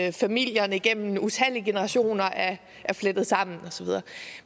at familierne igennem utallige generationer er flettet sammen og så videre